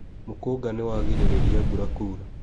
Mũkũnga nĩwarigĩrĩria mbura kuura.